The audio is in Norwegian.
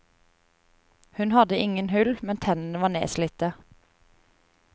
Hun hadde ingen hull, men tennene var nedslitte.